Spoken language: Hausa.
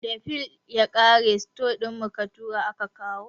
Da fil ya ƙare, store mu ka tura aka kawo